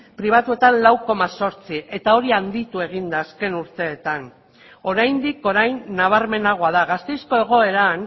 pribatuetan lau koma zortzi eta hori handitu egin da azken urteetan oraindik orain nabarmenagoa da gasteizko egoeran